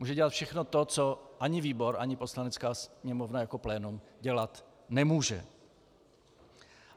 Může dělat všechno to, co ani výbor, ani Poslanecká sněmovna jako plénum dělat nemůže.